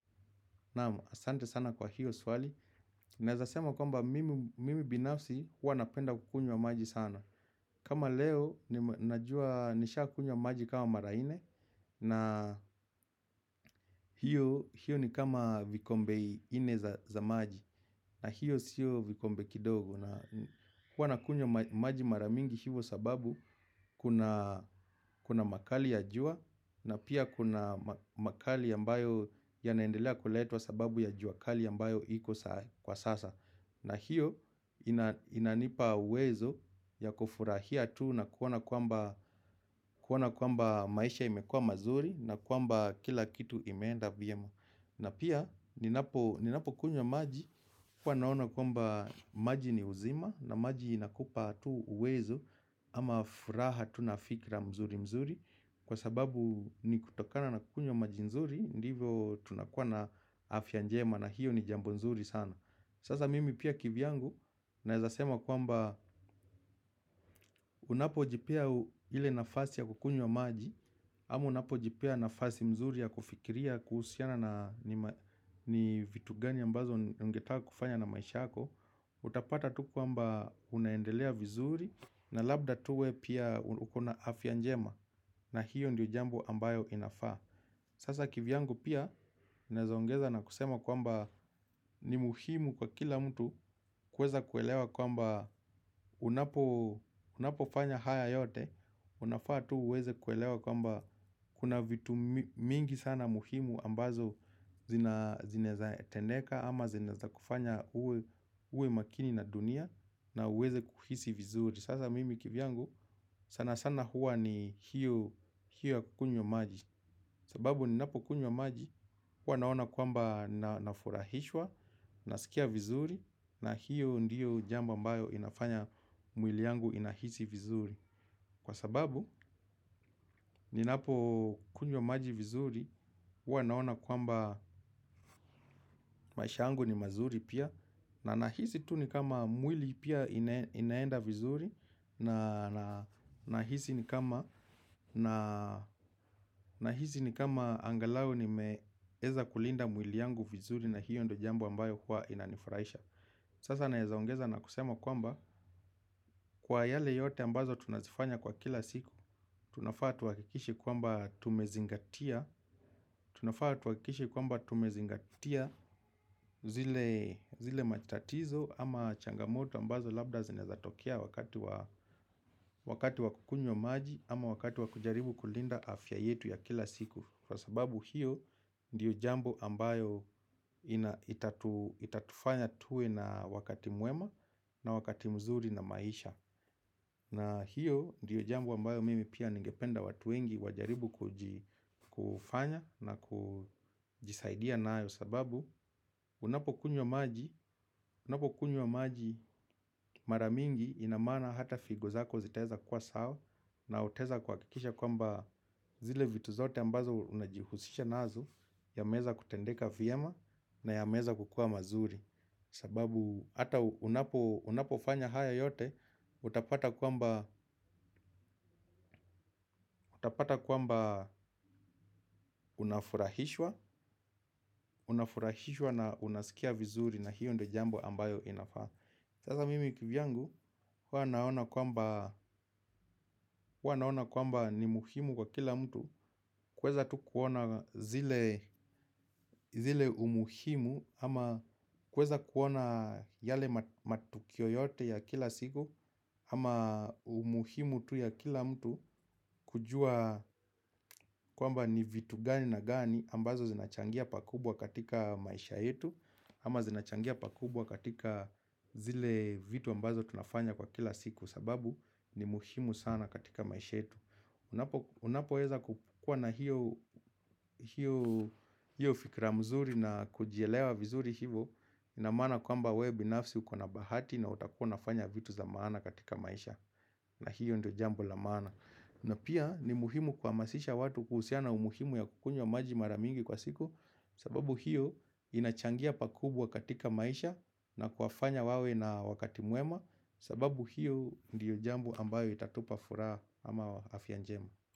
Naam, asante sana kwa hiyo swali. Naezasema kwamba mimi binafsi huwa napenda kukunywa maji sana. Kama leo najua nishaa kunywa maji kama mara nne. Na hiyo ni kama vikombe nne za maji. Na hiyo sio vikombe kidogo huwa nakunywa maji maramingi hivo sababu kuna makali ya jua. Na pia kuna makali ambayo ya naendelea kuletwa sababu ya juakali ambayo iko kwa sasa. Na hiyo inanipa uwezo ya kufurahia tu na kuona kwamba maisha imekua mazuri. Na kwamba kila kitu imeenda vyema. Na pia ninapo kunywa maji huwa naona kwamba maji ni uzima. Na maji inakupa tu uwezo ama furaha tu nafikra mzuri mzuri. Kwa sababu ni kutokana na kukunywa maji nzuri. Ndivyo tunakua na afya njema na hiyo ni jambo nzuri sana. Sasa mimi pia kivyangu naezasema kwamba unapo jipea ile nafasi ya kukunywa maji. Ama unapo jipea nafasi mzuri ya kufikiria kuhusiana na ni vitu gani ambazo ungetaka kufanya na maisha yako. Utapata tu kwamba unaendelea vizuri. Na labda tu we pia ukona afya njema. Na hiyo ndiyo jambo ambayo inafaa. Sasa kivyangu pia. Naweza ongeza na kusema kwamba ni muhimu kwa kila mtu. Kuweza kuelewa kwamba unapo fanya haya yote. Unafaa tu uweze kuelewa kwamba kuna vitu mingi sana muhimu ambazo zinaeza tendeka ama zinaeza kufanya uwe makini na dunia. Na uweze kuhisi vizuri. Sasa mimi kivyangu sana sana huwa ni hiyo hiyo ya kukunywa maji. Sababu ninapo kunywa maji huwa naona kwamba na furahishwa. Nasikia vizuri. Na hiyo ndiyo jambo ambayo inafanya mwili yangu inahisi vizuri. Kwa sababu ninapo kunywa maji vizuri huwa naona kwamba maisha yangu ni mazuri pia. Na nahisi tu ni kama mwili pia inaenda vizuri. Na nahisi ni kama na hisi ni kama angalau ni meeza kulinda mwili yangu vizuri na hiyo ndio jambo ambayo huwa inanifurahisha. Sasa naezaongeza na kusema kwamba kwa yale yote ambazo tunazifanya kwa kila siku tunafaa tuhakikishe kwamba tumezingatia. Tunafaa tuhakikishe kwamba tumezingatia zile zile matatizo ama changamoto ambazo labda zinaeza tokea wakati wa wakati wakukunywa maji. Ama wakati wakujaribu kulinda afya yetu ya kila siku. Kwa sababu hiyo ndiyo jambo ambayo itatufanya tuwe na wakati mwema na wakati mzuri na maisha. Na hiyo ndiyo jambo ambayo mimi pia ningependa watu wengi wajaribu kufanya na kujisaidia nayo. Sababu unapo kunywa maji maramingi inamaana hata figozako zitaweza kuwa sawa. Na utaweza kuhakikisha kwamba zile vitu zote ambazo unajihusisha nazo. Yameweza kutendeka vyema na yameweza kukua mazuri. Sababu hata unapofanya haya yote utapata kwamba unafurahishwa. Unafurahishwa na unasikia vizuri na hiyo ndio jambo ambayo inafaa. Sasa mimi kivyangu huwa naona kwamba ni muhimu kwa kila mtu kuweza tu kuona zile zile umuhimu ama kuweza kuona yale matukio yote ya kila siku ama umuhimu tu ya kila mtu kujua kwamba ni vitu gani na gani ambazo zinachangia pakubwa katika maisha yetu ama zinachangia pakubwa katika zile vitu ambazo tunafanya kwa kila siku sababu ni muhimu sana katika maisha yetu. Unapo weza kukuwa na hiyo fikra mzuri na kujielewa vizuri hivo. Inamaana kwamba wewe binafsi ukona bahati na utakuwa unafanya vitu za maana katika maisha. Na hiyo ndio jambo la maana. Na pia ni muhimu kuhamasisha watu kuhusiana umuhimu ya kukunywa maji maramingi kwa siku. Sababu hiyo inachangia pakubwa katika maisha na kuwafanya wawe na wakati mwema. Sababu hiyo ndio jambo ambayo itatupa furaha ama afya njema.